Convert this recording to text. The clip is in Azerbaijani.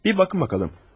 Bir baxın bakalım.